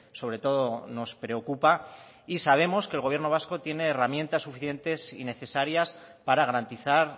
sobretodo nos preocupa y sabemos que el gobierno vasco tiene herramientas suficientes y necesarias para garantizar